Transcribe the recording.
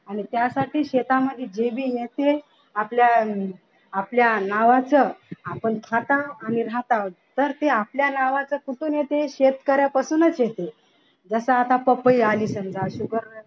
आणि त्यासाठी शेतामध्ये जे भी आहे ते आपल्या आपल्या नावाचं आपण खटाव आणि रःताव तर ते आपल्या नावाचं कुठून येते शेतकऱ्यापासूनच येते जस आता पपई आली समजा